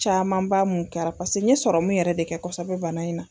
Caman b'a mun kɛra pase n ye sɔrɔmu yɛrɛ de kɛ kɔsɛbɛ bana in na